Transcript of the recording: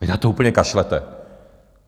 Vy na to úplně kašlete!